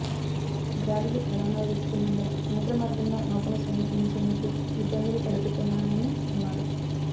గాలులు బలంగా వీస్తున్నందున సముద్రమార్గంలో నౌకను సమీపించేందుకు ఇబ్బందులు తలెత్తుతున్నాయని అన్నారు